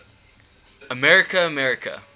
america america